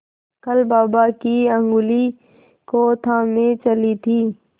कल बाबा की ऊँगली को थामे चली थी